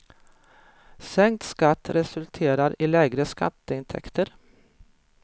Sänkt skatt resulterar i lägre skatteintäkter.